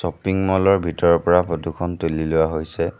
Shopping mall ৰ ভিতৰৰ পৰা ফটো খন তুলি লোৱা হৈছে।